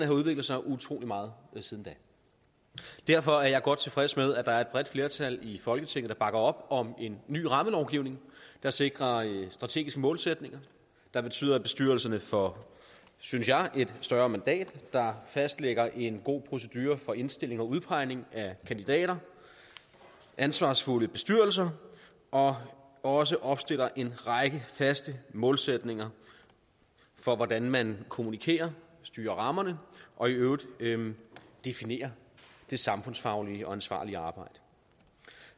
har udviklet sig utrolig meget siden da derfor er jeg godt tilfreds med at der er et bredt flertal i folketinget der bakker op om en ny rammelovgivning der sikrer strategiske målsætninger der betyder at bestyrelserne får synes jeg et større mandat der fastlægger en god procedure for indstilling og udpegning af kandidater ansvarsfulde bestyrelser og også opstiller en række faste målsætninger for hvordan man kommunikerer styrer rammerne og i øvrigt definerer det samfundsfaglige og ansvarlige arbejde